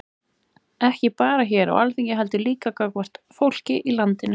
Ekki bara hér á Alþingi heldur líka gagnvart fólkinu í landinu?